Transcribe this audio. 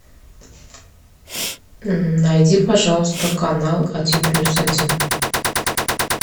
найди пожалуйста канал один плюс один